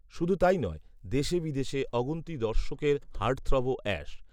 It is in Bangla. শুধু তাই নয়, দেশে বিদেশে অগুন্তি দর্শকের হার্টথ্রবও অ্যাশ